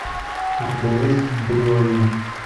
у тебя есть бриолин